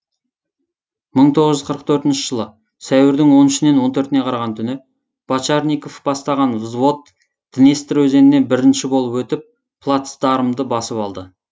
мың тоғыз жүз қырық төртінші жылы сәуірдің он үшінен он төртіне қараған түні бочарников бастаған взвод днестр өзенінен бірінші болып өтіп плацдармды басып алды